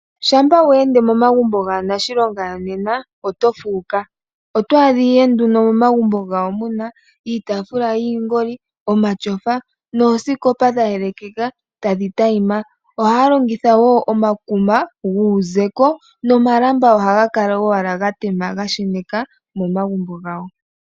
Shampa wa ende momagumbo gaanashilonga yonena oto fuuka. Oto adha ihe nduno momagumbo gawo muna iitaafula yiingoli, omatyofa noosikopa dha yelekeka tadhi tayima. Ohaya longitha wo omakuma guuzeko nomalamba ohaga kala owala ga tema ga sheneka momagumbo gawo.